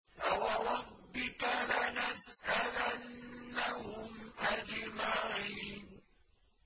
فَوَرَبِّكَ لَنَسْأَلَنَّهُمْ أَجْمَعِينَ